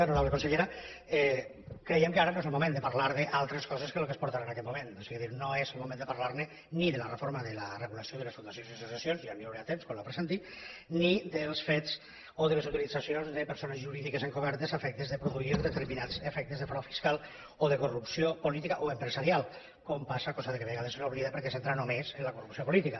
honorable consellera creiem que ara no és el moment de parlar d’altres coses que les que es porten en aquest moment o sigui no és el moment de parlar ni de la reforma de la regulació de les fundacions i associacions ja n’hi haurà temps quan la presenti ni dels fets o de les utilitzacions de persones jurídiques encobertes a efectes de produir determinats efectes de frau fiscal o de corrupció política o empresarial com passa cosa que de vegades s’oblida perquè s’entra només en la corrupció política